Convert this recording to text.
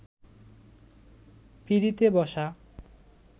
পিঁড়িতে বসা